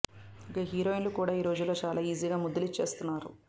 ఇక హీరోయిన్లు కూడా ఈ రోజుల్లో చాలా ఈజీగా ముద్దులు ఇచ్చేస్తున్నారు